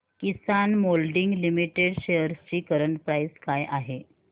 किसान molding limited shares ची current price काय आहे